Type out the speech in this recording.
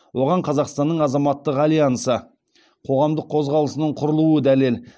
оған қазақстанның азаматтық альянсы қоғамдық қозғалысының құрылуы дәлел